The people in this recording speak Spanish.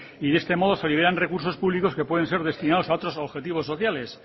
de este modo se liberan recursos públicos que pueden ser destinados a otros objetivos sociales